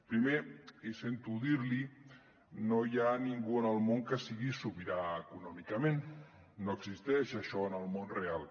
primer i sento dir l’hi no hi ha ningú en el món que sigui sobirà econòmicament no existeix això en el món real